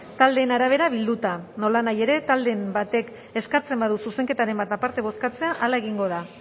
taldeen arabera bilduta nolanahi ere talderen batek eskatzen badu zuzenketaren bat aparte bozkatzea hala egingo da